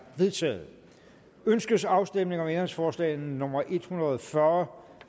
vedtaget ønskes afstemning om ændringsforslag nummer en hundrede og fyrre